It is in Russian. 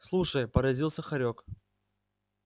слушай поразился хорёк